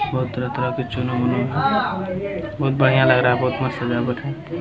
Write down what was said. बहुत तरह-तरह के चुनु मुन्नू हैं बहुत बढ़िया लग रहा है बहुत मस्त सजावट है।